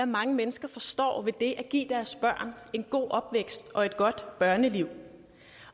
mange mennesker forstår ved at give deres børn en god opvækst og et godt børneliv